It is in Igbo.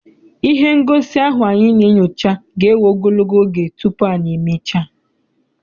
Ihe ngosi ahụ anyị na-enyocha ga ewe ogologo oge tupu anyị e mechaa.